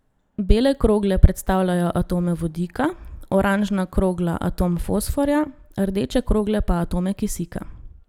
Bele krogle predstavljajo atome vodika, oranžna krogla atom fosforja, rdeče krogle pa atome kisika.